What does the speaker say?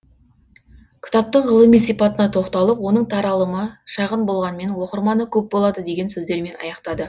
кітаптың ғылыми сипатына тоқталып оның таралымы шағын болғанмен оқырманы көп болады деген сөздермен аяқтады